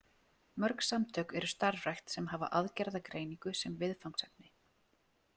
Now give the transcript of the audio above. Mörg samtök eru starfrækt sem hafa aðgerðagreiningu sem viðfangsefni.